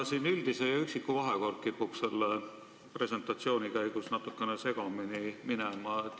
Ja veel: üldise ja üksiku vahekord kipub selle presentatsiooni käigus natukene segamini minema.